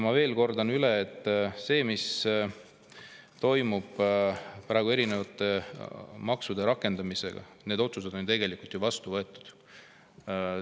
Ma kordan üle, et uute maksude rakendamise otsused on tegelikult ju vastu võetud.